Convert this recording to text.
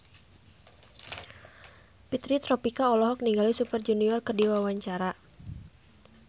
Fitri Tropika olohok ningali Super Junior keur diwawancara